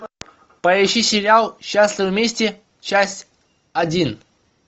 поищи сериал счастливы вместе часть один